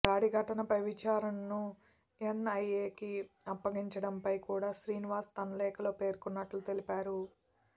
దాడి ఘటనపై విచారణను ఎన్ఐఏకి అప్పగించడంపై కూడా శ్రీనివాస్ తన లేఖలో పేర్కొన్నట్టు తెలిపారు